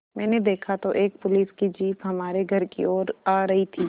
मैंने देखा तो एक पुलिस की जीप हमारे घर की ओर आ रही थी